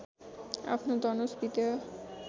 आफ्नो धनुष विदेह